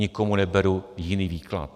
Nikomu neberu jiný výklad.